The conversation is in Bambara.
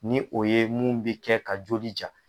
Ni o ye mun bi kɛ ka joli ja